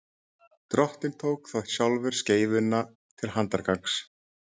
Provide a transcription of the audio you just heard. drottinn tók þá sjálfur skeifuna til handargagns